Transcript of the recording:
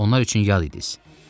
Onlar üçün yad idiniz.